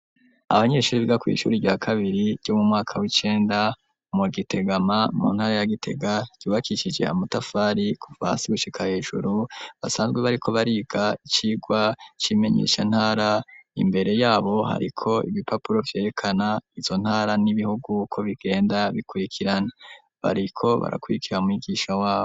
Abanyeshuri biga kw'ishuri rya kabiri ryo mu mwaka w'icenda mu Gitegama mu ntara ya Gitega ryubakishije amatafari kuva hasi gushika hejuru basanzwe bariko bariga icigwa c'imenyeshantara, imbere yabo hariko ibipapuro vyerekana izo ntara n'ibihugu uko bigenda bikurikirana. Bariko barakurikira mwigisha wabo.